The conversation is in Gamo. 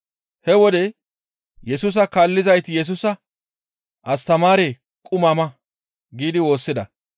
He wode Yesusa kaallizayti Yesusa, «Astamaaree! Quma ma» giidi woossida.